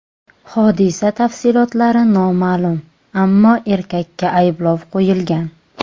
Hodisa tafsilotlari noma’lum, ammo erkakka ayblov qo‘yilgan.